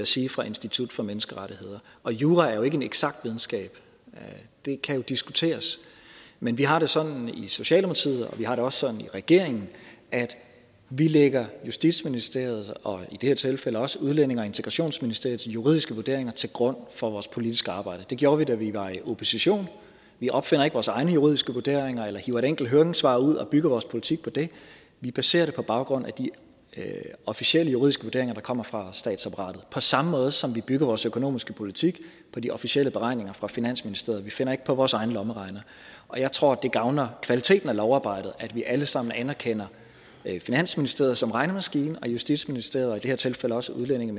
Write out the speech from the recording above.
sige fra institut for menneskerettigheder og jura er jo ikke en eksakt videnskab det kan jo diskuteres men vi har det sådan i socialdemokratiet og vi har det også sådan i regeringen at vi lægger justitsministeriets og i det her tilfælde også udlændinge og integrationsministeriets juridiske vurderinger til grund for vores politiske arbejde det gjorde vi da vi var i opposition vi opfinder ikke vores egne juridiske vurderinger eller hiver et enkelt høringssvar ud og bygger vores politik på det vi baserer det på baggrund af de officielle juridiske vurderinger der kommer fra statsapparatet på samme måde som vi bygger vores økonomiske politik på de officielle beregninger fra finansministeriet vi finder ikke på vores egne lommeregnere og jeg tror det gavner kvaliteten af lovarbejdet at vi alle sammen anerkender finansministeriet som regnemaskine og justitsministeriet og i det her tilfælde også udlændinge